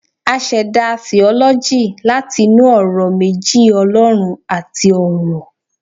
a seda 'theology' lati inú ọrọ meji 'olorun'ati 'oro'